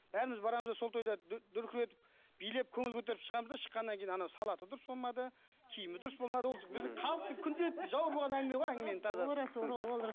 бәріміз барамыз да сол тойда дүркіретіп билеп көңіл көтеріп шығамыз да шыққаннан кейін анау салаты дұрыс болмады киімі дұрыс болмады ол біздің халықтың күнделікті жауыр болған әңгіме ғой әңгіменің тазасы